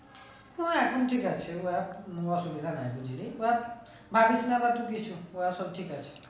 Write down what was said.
ও এখন ঠিক এখন অসুবিধা নাই ওরা সব ঠিক আছে